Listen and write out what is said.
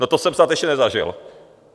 No to jsem snad ještě nezažil.